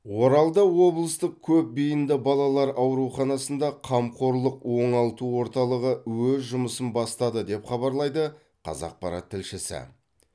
оралда облыстық көпбейінді балалар ауруханасында қамқорлық оңалту орталығы өз жұмысын бастады деп хабарлайды қазақпарат тілшісі